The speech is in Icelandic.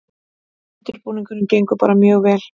Undirbúningurinn gengur bara mjög vel